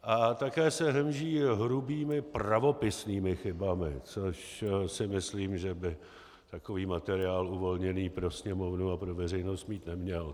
A také se hemží hrubými pravopisnými chybami, což si myslím, že by takový materiál uvolněný pro Sněmovnu a pro veřejnost mít neměl.